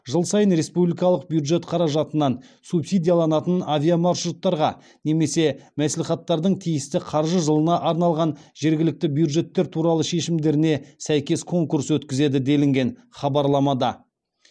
жыл сайын республикалық бюджет қаражатынан субсидияланатын авиамаршруттарға немесе мәслихаттардың тиісті қаржы жылына арналған жергілікті бюджеттер туралы шешімдеріне сәйкес конкурс өткізеді делінген хабарламада